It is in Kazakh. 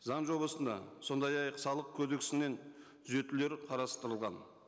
заң жобасына сондай ақ салық қодексінен түзетулер қарастырылған